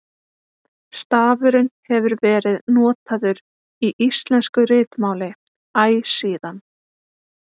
Stafurinn hefur verið notaður í íslensku ritmáli æ síðan.